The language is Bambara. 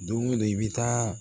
Don o don i bɛ taa